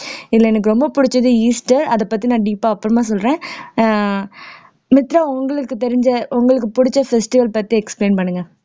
இதுல எனக்கு ரொம்ப பிடிச்சது ஈஸ்டர் அதைப் பத்தி நான் deep ஆ அப்புறமா சொல்றேன் அஹ் மித்ரா உங்களுக்கு தெரிஞ்ச உங்களுக்கு பிடிச்ச festival பத்தி explain பண்ணுங்க